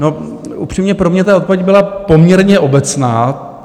No, upřímně, pro mě ta odpověď byla poměrně obecná.